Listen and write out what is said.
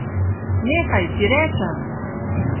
Nehaj, ti rečem!